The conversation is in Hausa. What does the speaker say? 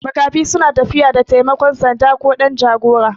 Makafi suna tafiya da taimakon sanda ko ɗan jagora